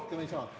Kas rohkem ei saa?